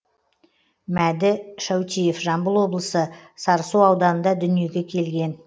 мәді шәутиев жамбыл облысы сарысу ауданында дүниеге келген